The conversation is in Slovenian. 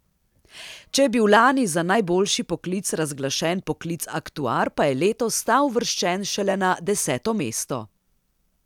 Če je bil lani za najboljši poklic razglašen poklic aktuar, pa je letos ta uvrščen šele na deseto mesto.